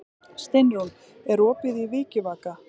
Steinrún, er opið í Vikivaka?